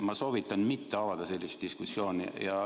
Ma soovitan mitte avada sellist diskussiooni.